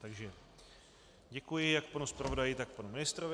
Takže děkuji jak panu zpravodaji, tak panu ministrovi.